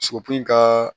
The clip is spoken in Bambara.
in ka